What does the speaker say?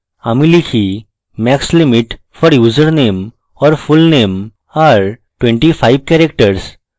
আমি লিখি max limit for username or fullname are 25 characters